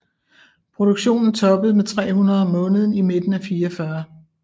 Produktionen toppede med 300 om måneden i midten af 1944